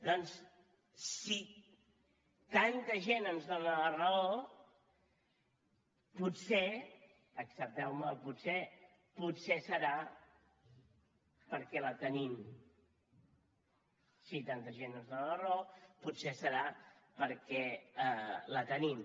doncs si tanta gent ens dóna la raó potser accepteume el potser potser serà perquè la tenim si tanta gent ens dóna la raó potser serà perquè la tenim